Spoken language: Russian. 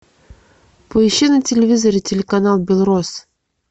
поищи на телевизоре телеканал белрос